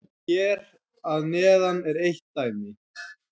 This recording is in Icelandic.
Hér að neðan er eitt dæmi